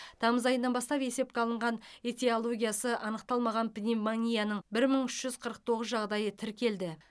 тамыз айынан бастап есепке алынған этиологиясы анықталмаған пневмонияның бір мың үш жүз қырық тоғыз жағдайы тіркелді